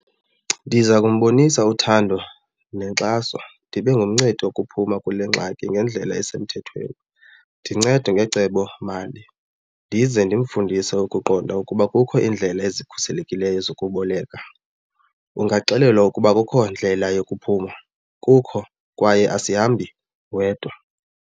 Ndiza kumbonisa uthando nenkxaso ndibe ngumncedi wokuphuma kule ngxaki ngendlela esemthethweni ndincede ngecebomali ndize ndimfundise ukuqonda ukuba kukho iindlela ezikhuselekileyo zokuboleka. Ungaxelelwa ukuba akukho ndlela yokuphuma kukho kwaye asihambi wedwa.